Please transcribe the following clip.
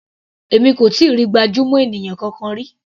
Èmi kò tíì rí gbajúmọ̀ ènìyàn kankan rí.